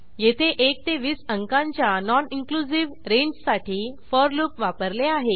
येथे 1 ते 20 अंकांच्या नॉन इनक्लुझिव्ह रेंजसाठी फोर लूप वापरले आहे